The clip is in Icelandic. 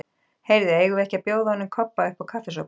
Heyrðu, eigum við ekki að bjóða honum Kobba uppá kaffisopa?